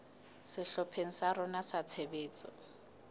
sehlopheng sa rona sa tshebetso